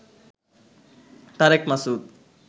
Tarique Masud